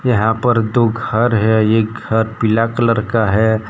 यहां पर दो घर है एक घर पीला कलर का है।